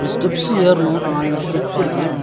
Steps ஏறனு நாலஞ்சு ஸ்டெப்ஸ்ஸிருக்கு .